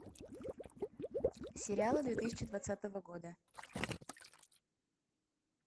сериалы две тысячи двадцатого года